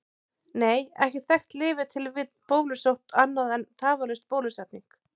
Nei, ekkert þekkt lyf er til við bólusótt annað en tafarlaus bólusetning.